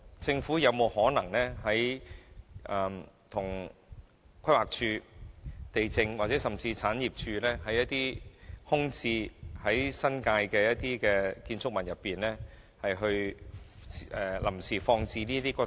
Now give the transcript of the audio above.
政府有沒有可能安排在規劃署、地政總署或產業署位於新界的空置建築物內，臨時放置這些骨灰？